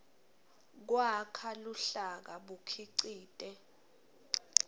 kwakha luhlaka bukhicite